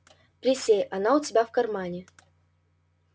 присей она у тебя в кармане